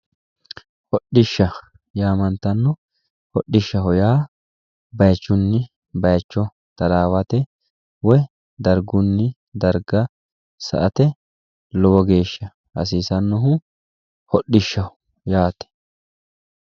Hodhishsha yamantano, hodhishshaho yaa bayichunni bayicho tarawate woyi dargunni darga sa"ate lowo geeshsha hasiisanohu hodhishshaho yaate.